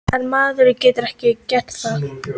En maður getur ekki gert það.